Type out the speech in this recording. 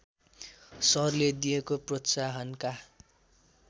सरले दिएको प्रोत्साहनका